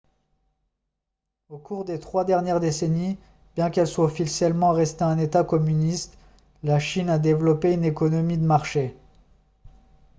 au cours des trois dernières décennies bien qu'elle soit officiellement restée un état communiste la chine a développé une économie de marché